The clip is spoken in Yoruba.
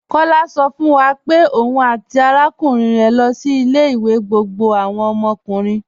Kọ̀lá sọ̀ fún wa pé ọ̀un àti arákùnrin rẹ lọ sí ilẹ̀-ìwé gbogbo àwọn ọmọkùnrin.